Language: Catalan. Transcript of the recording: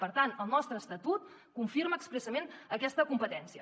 per tant el nostre estatut confirma expressament aquesta competència